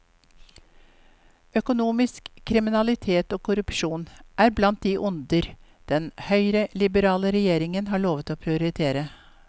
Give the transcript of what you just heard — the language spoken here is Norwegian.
Økonomisk kriminalitet og korrupsjon er blant de onder den høyreliberale regjeringen har lovet å prioritere.